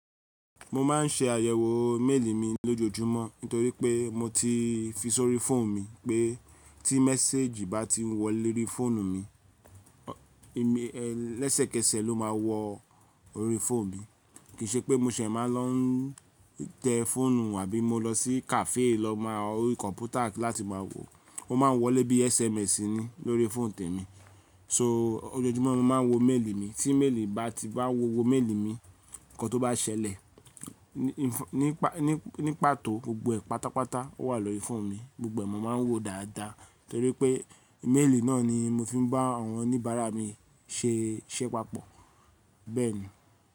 Mo ma n ṣe àyẹ̀wò méèlì mi lójoojúmọ́ nítorí pé mo ti fi sórí fóònù mi pé tí message bá ti wọ léri fóònù mi, ẹ̀ lẹ́sẹ̀kẹsẹ̀ ló máa wọ orí fóònù mi. Kì í ṣe pé mo ṣẹ̀ máa lọ tẹ fóònù àbí mo lọ sí kàféè lọ máa orí kọ̀mpútà láti máa wò. Ó ma wọlé bí SMS ni lórí fóònù tèmi. So ojoojúmọ́ mo ma n wo méèlì mi. Tí méèlì bá ti bá wó wo méèlì mi, nǹkan tó bá ṣẹlẹ̀ nípa tó gbogbo ẹ̀ pátápátá ó wà lórí fóònù mi. Gbogbo ẹ̀ mo ma n wo dáadáa torí pé méèlì náà ni mo fi n bá àwọn oníbàárà mi ṣé pàpọ̀ bẹ́ẹ̀ni.